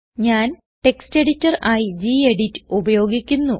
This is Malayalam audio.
ഞാൻ ടെക്സ്റ്റ് എഡിറ്റർ ആയി ഗെഡിറ്റ് ഉപയോഗിക്കുന്നു